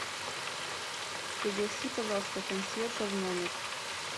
пригласи пожалуйста консьержа в номер